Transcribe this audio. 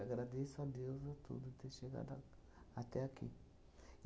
Agradeço a Deus a tudo ter chegado a até aqui.